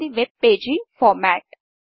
ఇది web page format